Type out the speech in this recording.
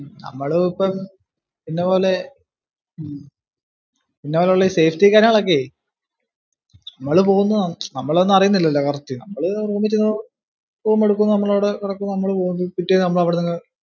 നമ്മള് ഇപ്പം ഇന്നപോലെ ഇന്നപോലുള്ള safety ഒക്കെ നമ്മള് പോകുന്നു നമ്മൾ ഒന്നും അറിയുന്നില്ലല്ലോ correct. നമ്മള് room ഇൽ ചെന്ന് room എടുക്കുന്നു. നമ്മള് അവിടെ കിടക്കുന്നു, നമ്മള് പോകുന്നു. പിറ്റേന്ന് നമ്മൾ അവിടുന്നങ്ങു